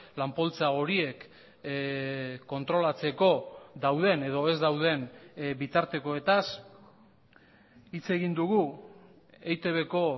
lan poltsa horiek kontrolatzeko dauden edo ez dauden bitartekoetaz hitz egin dugu eitbko